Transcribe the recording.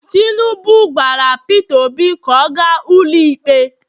tinubu gwara Pete obi ka o gas ụlọ ikpe